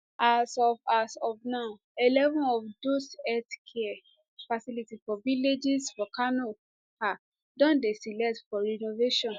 as of as of now eleven of dose healthcare facilities for villages for kano um don dey selected for renovation